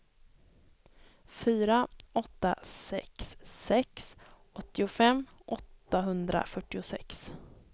fyra åtta sex sex åttiofem åttahundrafyrtiosex